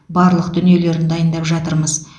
барлық дүниелерін дайындап жатырмыз